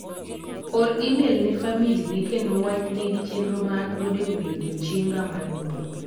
Or imel ne famili ne kendo wach ne gi chenro ma an godo ewi odiochieng'a mar nyuol.